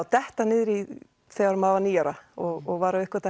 detta niður í þegar maður var níu ára og var að uppgötva